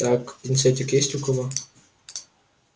так пинцетик есть у кого